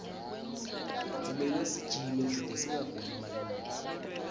kumele sijime kute singaguli malula